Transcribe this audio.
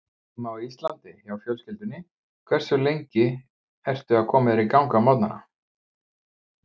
Heima á Íslandi hjá fjölskyldunni Hversu lengi ertu að koma þér í gang á morgnanna?